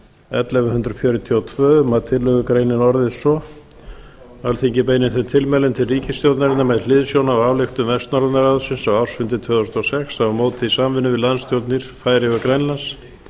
ellefu hundruð fjörutíu og tvö um að tillögugreinin orðist svo alþingi beinir þeim tilmælum til ríkisstjórnarinnar með hliðsjón af ályktun vestnorræna ráðsins á ársfundi tvö þúsund og sex að hún móti í samvinnu við landsstjórnir færeyja og grænlands